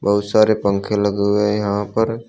बहुत सारे पंखे लगे हुए हैं यहां पर।